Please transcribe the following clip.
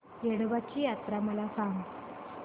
येडोबाची यात्रा मला सांग